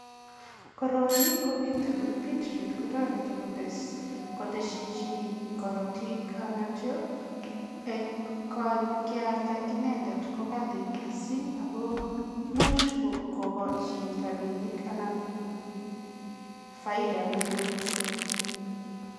Koroi ko beetroot, beetroot kotoreti koteshi chii karotik anityo eng kealda inendet ko kali mising ako much kokochi rapinik anan ko faida neo mising.